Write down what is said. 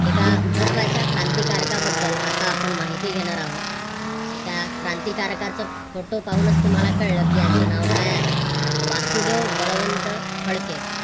एका महत्त्वाच्या क्रांतिकारक का बद्दल आपण माहिती घेणार आहोत. तर त्या क्रांतिकारकाचा फोटो पाहूनच मला कळलं की यांचं नाव काय आहे वासुदेव बळवंत फडके